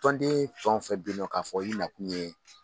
Tɔnden fɛn o fɛn bɛ yen nɔ k'a fɔ i nakun ye